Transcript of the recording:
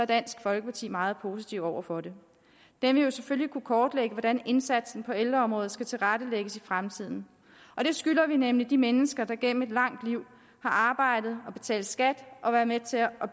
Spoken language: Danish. dansk folkeparti meget positive over for det den vil jo selvfølgelig kunne kortlægge hvordan indsatsen på ældreområdet skal tilrettelægges i fremtiden og det skylder vi nemlig de mennesker gennem et langt liv har arbejdet betalt skat og været med til at